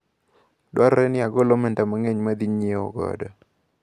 Dwarore ni agol omenda mang`eny maadhi nyiewo godo.